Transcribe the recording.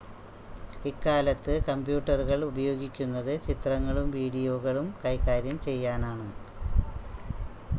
ഇക്കാലത്ത് കമ്പ്യൂട്ടറുകൾ ഉപയോഗിക്കുന്നത് ചിത്രങ്ങളും വീഡിയോകളും കൈകാര്യം ചെയ്യാനാണ്